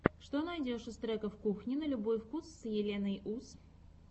что найдешь из треков кухни на любой вкус с еленой ус